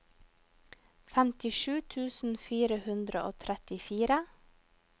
femtisju tusen fire hundre og trettifire